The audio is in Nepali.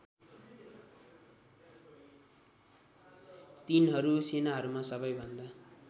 तीनहरू सेनाहरूमा सबैभन्दा